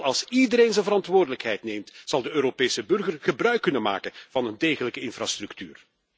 Alleen als iedereen zijn verantwoordelijkheid neemt, zal de Europese burger gebruik kunnen maken van een degelijke infrastructuur.